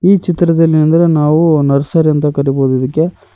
ಈ ಚಿತ್ರದಲ್ಲಿ ಏನೆಂದರೆ ನಾವು ನರ್ಸರಿ ಅಂತ ಕರಿಬೋದು ಇದಕ್ಕೆ.